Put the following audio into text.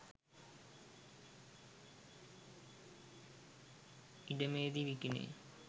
ඉඩමේදී විකිණේ